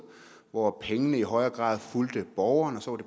hvor pengene i højere grad fulgte borgeren og så